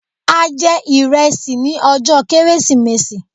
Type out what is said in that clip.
A jẹ ìrẹsì ní ọjọ́ kérésìmesì